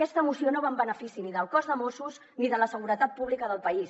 aquesta moció no va en benefici ni del cos de mossos d’esquadra ni de la seguretat pública del país